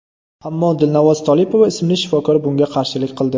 Ammo Dilnavoz Tolipova ismli shifokor bunga qarshilik qildi.